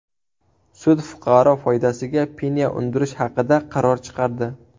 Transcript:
Sud fuqaro foydasiga penya undirish haqida qaror chiqardi.